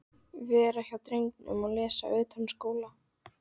Vera hjá drengnum og lesa utanskóla.